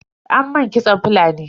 An mun kitson Fulani.